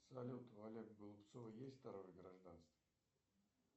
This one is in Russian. салют у олега голубцова есть второе гражданство